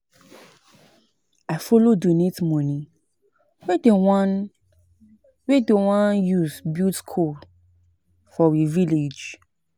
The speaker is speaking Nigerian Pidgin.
I follow donate moni wey dem wan use build skool for we village.